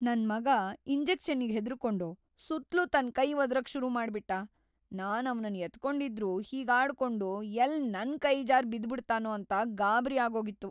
ನನ್ ಮಗ ಇಂಜೆಕ್ಷನ್ನಿಗ್ ಹೆದ್ರುರ್ಕೊಂಡು ಸುತ್ಲೂ ತನ್‌ ಕೈ ವದ್ರೋಕ್‌ ಶುರುಮಾಡ್ಬಿಟ್ಟ, ನಾನ್‌ ಅವ್ನನ್ನ ಎತ್ಕೊಂಡಿದ್ರೂ ಹೀಗಾಡ್ಕೊಂಡು ಎಲ್ಲ್‌ ನನ್‌ ಕೈ ಜಾರ್ ಬಿದ್ಬಿಡ್ತಾನೋ ಅಂತ ಗಾಬ್ರಿ ಆಗೋಗಿತ್ತು.